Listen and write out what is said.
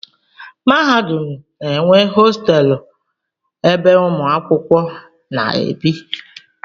Mahadum na-enwe hostelụ ebe ụmụ akwụkwọ na-ebi.